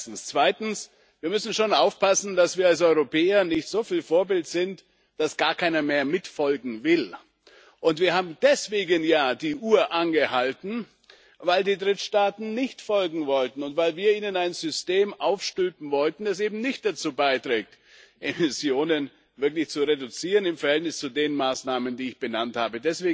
Außerdem müssen wir schon aufpassen, dass wir als Europäer nicht soviel Vorbild sind, dass gar keiner mehr folgen will. Und wir haben ja deswegen die Uhr angehalten, weil die Drittstaaten nicht folgen wollten und weil wir ihnen ein System aufstülpen wollten, das eben nicht dazu beiträgt, Emissionen wirklich zu reduzieren im Verhältnis zu den Maßnahmen, die ich benannt habe.